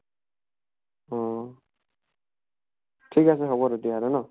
অহ ঠিক আছে, হʼব তেতিয়া হʼলে ন।